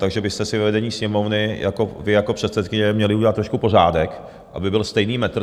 Takže byste si ve vedení Sněmovny jako, vy jako předsedkyně, měli udělat trošku pořádek, aby byl stejný metr.